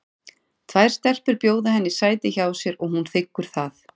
Tvær stelpur bjóða henni sæti hjá sér og hún þiggur það.